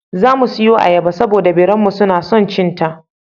Za mu siyo ayyaba, saboda da biranmu suna son cin ta.